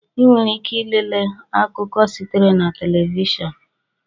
Ị nwere ike ilele akụkọ sitere na telivishọn